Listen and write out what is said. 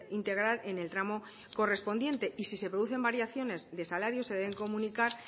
integrar en el tramo correspondiente y si se producen variaciones de salarios se deben comunicar